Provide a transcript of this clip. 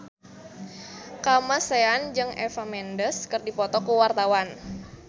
Kamasean jeung Eva Mendes keur dipoto ku wartawan